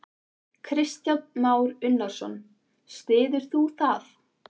Kristján Már Unnarsson: Styður þú það?